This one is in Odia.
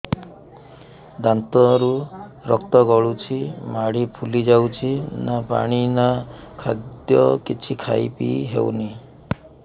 ଦାନ୍ତ ରୁ ରକ୍ତ ଗଳୁଛି ମାଢି ଫୁଲି ଯାଉଛି ନା ପାଣି ନା ଖାଦ୍ୟ କିଛି ଖାଇ ପିଇ ହେଉନି